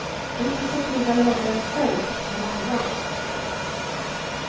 Det är inte så kul när det händer en själv, men annars.